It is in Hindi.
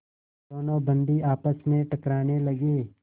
दोनों बंदी आपस में टकराने लगे